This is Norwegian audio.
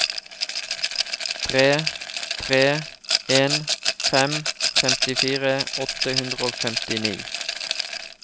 tre tre en fem femtifire åtte hundre og femtini